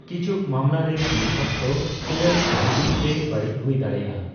ᱠᱤᱪᱷᱩᱠ ᱢᱟᱢᱞᱟ ᱨᱮ, ᱫᱤᱱ ᱚᱠᱛᱚ ᱠᱚᱭᱚᱜ ᱵᱷᱟ, ᱜᱤ ᱥᱮ ᱵᱟᱹᱲᱤᱡ ᱦᱩᱭ ᱫᱟᱲᱽᱮᱭᱟᱜᱼᱟ ᱾